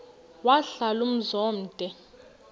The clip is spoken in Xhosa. wahlala umzum omde